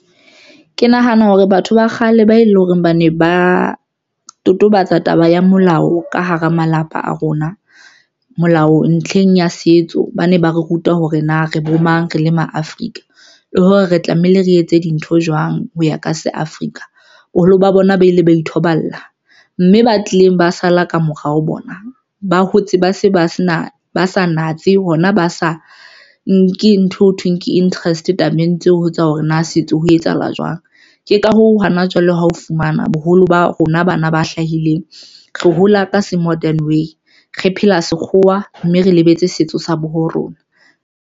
Ke nahana hore batho ba kgale ba e leng hore ba ne ba totobatsa taba ya molao ka hara malapa a rona. Molao ntlheng ya setso, ba ne ba re ruta hore na re bomang re le ma Afrika le hore re tlamehile re etse dintho jwang ho ya ka se Africa. Boholo ba bona ba ile ba ithoballa mme ba tlileng ba sala ka morao bona ba hotse ba se ba sa natse hona ba sa nke ntho ho thweng ke interest tabeng tseo ho tswa hore na setso ho etsahala jwang. Ke ka hoo, hana jwale ha o fumana boholo ba rona bana ba hlahileng re hola ka se modern way re phela sekgowa mme re lebetse setso sa bo rona.